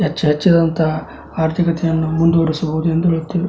ಹೆಚ್ಚು ಹೆಚ್ಚಿದಂತ ಆರ್ಥಿಕತೆಯನ್ನು ಮುಂದು ಓಡಿಸಬಹುದು ಎಂದು ಹೇಳುತ್ತೇವೆ.